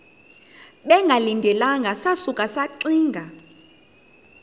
bengalindelanga sasuka saxinga